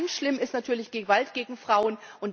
Und ganz schlimm ist natürlich Gewalt gegen Frauen.